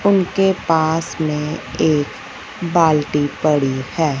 उनके पास मे एक बाल्टी पड़ी है।